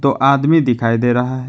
आदमी दिखाई दे रहा है।